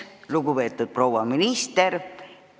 Lugupeetud proua minister!